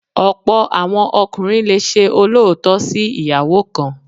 Ọ̀pọ̀ àwọn ọkùnrin le ṣe olóòótọ́ sí ìyàwó kan.